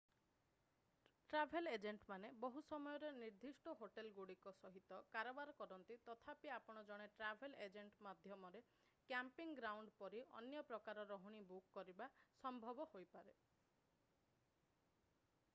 travel ଏଜେଣ୍ଟମାନେ ବହୁ ସମୟରେ ନିର୍ଦ୍ଦିଷ୍ଟ ହୋଟେଲଗୁଡ଼ିକ ସହିତ କାରବାର କରନ୍ତି ତଥାପି ଆପଣ ଜଣେ ଟ୍ରାଭେଲ୍ ଏଜେଣ୍ଟ ମାଧ୍ୟମରେ କ୍ୟାମ୍ପିଂ ଗ୍ରାଉଣ୍ଡ ପରି ଅନ୍ୟ ପ୍ରକାରର ରହଣି ବୁକ୍ କରିବା ସମ୍ଭବ ହୋଇପାରେ